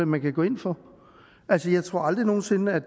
man kan gå ind for altså jeg tror aldrig nogen sinde at